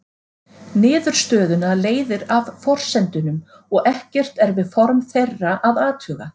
Niðurstöðuna leiðir af forsendunum og ekkert er við form þeirra að athuga.